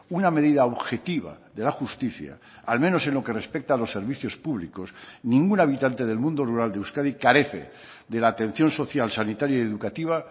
una medida objetiva de la justicia al menos en lo que respecta a los servicios públicos ningún habitante del mundo rural de euskadi carece de la atención social sanitaria y educativa